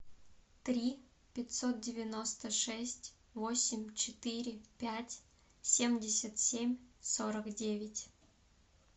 три пятьсот девяносто шесть восемь четыре пять семьдесят семь сорок девять